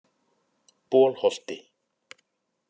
Bolholti